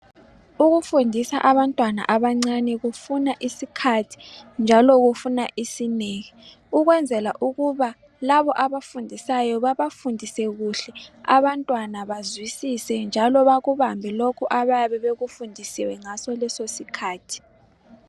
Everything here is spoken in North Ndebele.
Ukufundisa abantwana abancane kufuna isikhathi njalo kufuna isineke ukwenzela ukuba laba abafundisayo babafundise kuhle abantwana bazwisise njalo bakubambe lokho abayabe bekufundisiwe ngaso leso sikhathi.